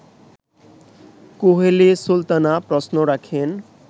কুহেলি সুলতানা প্রশ্ন রাখেন